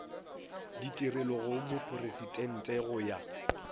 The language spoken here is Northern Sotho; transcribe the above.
ditigelo go mopresidente go ya